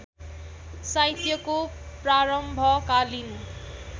साहित्यको प्रारम्भकालीन